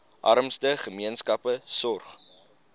armste gemeenskappe sorg